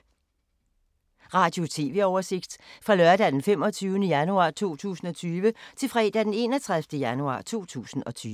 Radio/TV oversigt fra lørdag d. 25. januar 2020 til fredag d. 31. januar 2020